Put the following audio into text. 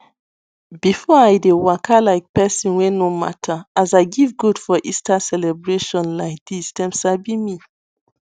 before i dey waka like person wey no matter as i give goat for easter celebration laidis dem sabi me